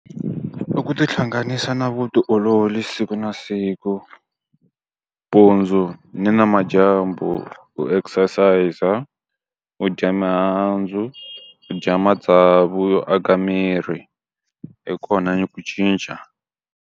Loko u ti hlanganisa na vutiolori siku na siku. Mpundzu ni namadyambu u exercise-a, a u dya mihandzu, dya matsavu yo aka miri, hi kona ku cinca.